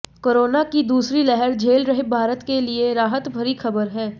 corona की दूसरी लहर झेल रहे भारत के लिए राहत भरी खबर है